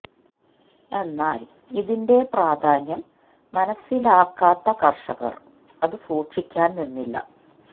എന്നാൽ ഇതിന്റെ പ്രധാന്യം മനസിലാക്കാത്ത കർഷകർ അത് സൂക്ഷിക്കാൻ നിന്നില്ല